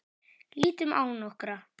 Lítum á nokkra.